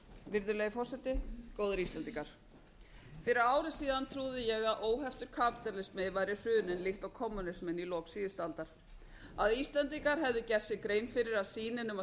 virðulegi forseti góðir íslendingar fyrir ári síðan trúði ég að heftur kapítalismi væri hruninn líkt og kommúnisminn í lok síðustu aldar að íslendingar hefðu gert sér grein fyrir að sýnin um að